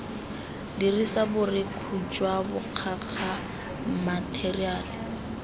dirisa borekhu jwa bokgakga matheriale